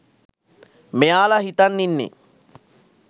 මෙයාල හිතන් ඉන්නේ.